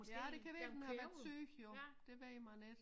Ja det kan være den har været syg jo det ved man ik